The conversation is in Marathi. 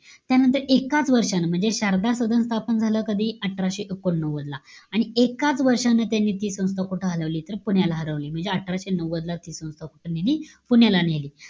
त्यानंतर एकाच वर्षानं, म्हणजे, शारदा सदन स्थपन झालं कधी? अठराशे एकोणनव्वदला. आणि एकाच वर्षानं त्यांनी ती संस्था कुठं हलवली? तर, पुण्याला हलवली. म्हणजे अठराशे नव्वद ला ती संस्था कुठं नेली? पुण्याला नेली.